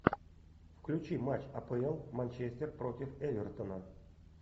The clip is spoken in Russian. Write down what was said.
включи матч апл манчестер против эвертона